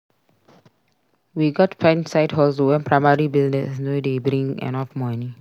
We gats find side hustle when primary business no dey bring enough money.